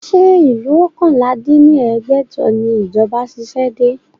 Ṣé ìlú oókànlá dín ní ẹgbẹ́jọ ni ìjọba ṣiṣẹ́ dé?